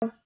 já